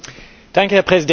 Herr Präsident!